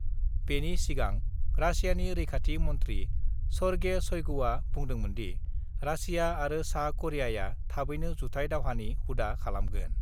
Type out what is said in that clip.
बेनि सिगां रासियानि रैखाथि मन्थ्रि सर्गेइ शइगुआ बुंदोंमोनदि, रासिया आरो सा करियाआ थाबैनो जुथाय दावहानि हुदा खालामगोन।